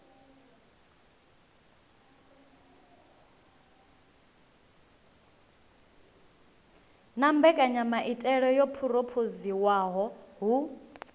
na mbekanyamaitele yo phurophoziwaho hu